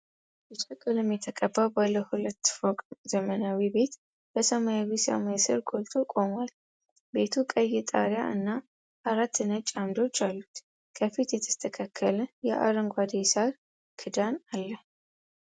ቢጫ ቀለም የተቀባ ባለ ሁለት ፎቅ ዘመናዊ ቤት በሰማያዊ ሰማይ ስር ጎልቶ ቆሟል። ቤቱ ቀይ ጣሪያ እና አራት ነጭ ዓምዶች አሉት፣ ከፊት የተስተካከለ የአረንጓዴ ሳር ክዳን አለ።